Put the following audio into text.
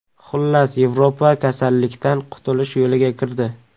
Xullas, Yevropa kasallikdan qutulish yo‘liga kirdi.